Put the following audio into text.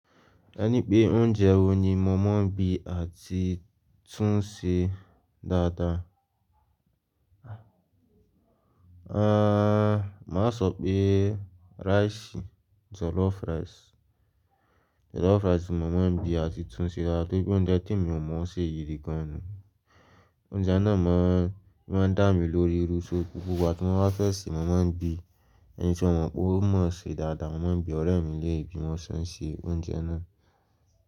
Ẹ ní pé oúnjẹ wo ni màá mọ̀ bí àti tún ṣe dáadáa? Aaa, máa sọ pé rice, jollof rice. Jollof rice ni màá mọ̀ bí àti tún ṣe dáadáa, tó bí òún jẹ́ tí mi ò mọ̀ ṣe yi kan ni. Oúnjẹ náà máa ń, máa ń dá mi lórí ru sókú. Wàá tó máa bá fẹ́ sè, màá mọ̀ bí. Ẹni tí ó mọ̀ pé ó mọ̀ ṣe dáadáa, màá mọ̀ bí ọ̀rẹ́ mi ilé bí wọn ṣen ṣe oúnjẹ náà.